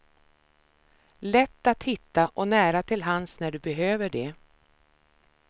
Lätt att hitta och nära till hands när du behöver de.